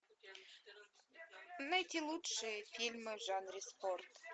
найти лучшие фильмы в жанре спорт